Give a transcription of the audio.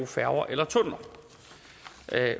færger eller tunneller